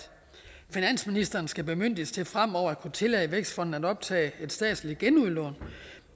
finansministeren skal bemyndiges til fremover at kunne tillade vækstfonden at optage et statsligt genudlån